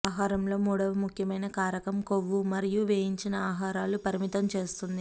ఆహారంలో మూడవ ముఖ్యమైన కారకం కొవ్వు మరియు వేయించిన ఆహారాలు పరిమితం చేస్తుంది